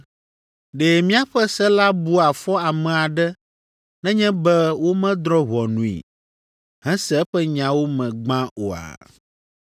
“Ɖe míaƒe se la bua fɔ ame aɖe nenye be womedrɔ̃ ʋɔnui, hese eƒe nyawo me gbã oa?”